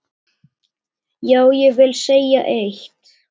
Já, ég vil segja eitt!